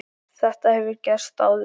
Þetta hefur gerst áður.